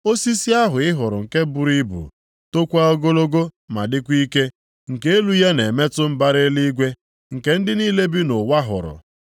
Osisi ahụ ị hụrụ nke buru ibu, tokwa ogologo ma dịkwa ike, nke elu ya na-emetụ mbara eluigwe, nke ndị niile bi nʼụwa hụrụ,